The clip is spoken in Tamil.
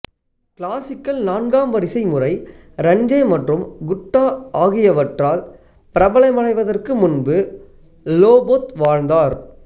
கிளாசிக்கல் நான்காம் வரிசை முறை ரன்ஜே மற்றும் குட்டா ஆகியவற்றால் பிரபலமடைவதற்கு முன்பு லோபோத் வாழ்ந்தார்